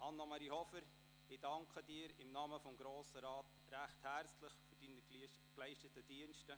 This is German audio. Anne-Marie Hofer, im Namen des Grossen Rats danke ich Ihnen recht herzlich für die Dienste, die Sie uns geleistet haben.